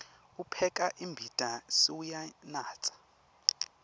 upheka imbita sewuyanatsa